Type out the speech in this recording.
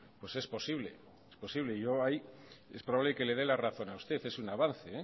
pues es posible es posible y yo ahí es probable que le dé la razón a usted es un